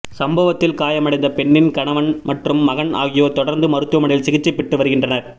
சம்பவத்தில் காயமடைந்த பெண்ணின் கணவன் மற்றும் மகன் ஆகியோர் தொடர்ந்து மருத்துவமனையில் சிகிச்சை பெற்று வருகின்றனர்